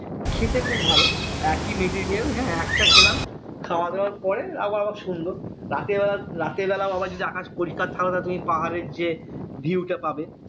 খেতে খুব ভালো একিই হ্যাঁ একটা খেলাম খাওয়া দাওয়ার পরে আবহাওয়া সুন্দর রাতের বেলা রাতের বেলা আবার যদি আকাশ পরিষ্কার থাকলো তুমি পাহাড়ের যে view টা পাবে